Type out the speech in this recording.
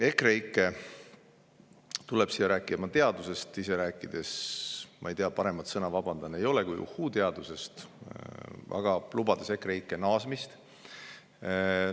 EKREIKE tuleb siia rääkima teadusest, ise rääkides – ma ei tea, vabandust, paremat sõna ei ole – uhhuu-teadusest, aga lubades EKREIKE naasmist.